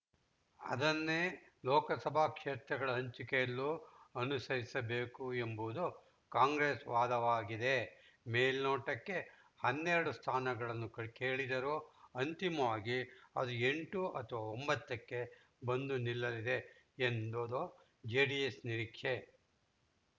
ಅದನ್ನೇ ಈ ಲೋಕಸಭಾ ಕ್ಷೇತ್ರಗಳ ಹಂಚಿಕೆಯಲ್ಲೂ ಅನುಸರಿಸಬೇಕು ಎಂಬುದು ಕಾಂಗ್ರೆಸ್‌ ವಾದವಾಗಿದೆ ಮೇಲ್ನೋಟಕ್ಕೆ ಹನ್ನೆರಡು ಸ್ಥಾನಗಳನ್ನು ಕೇಳಿದರೂ ಅಂತಿಮವಾಗಿ ಅದು ಎಂಟು ಅಥವಾ ಒಂಬತ್ತಕ್ಕೆ ಬಂದು ನಿಲ್ಲಲಿದೆ ಎಂದುಬುದು ಜೆಡಿಎಸ್‌ ನಿರೀಕ್ಷೆ